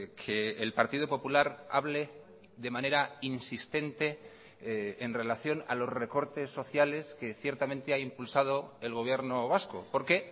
que el partido popular hable de manera insistente en relación a los recortes sociales que ciertamente ha impulsado el gobierno vasco porque